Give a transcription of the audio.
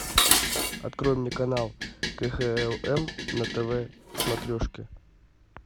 открой мне канал кхлм на тв смотрешке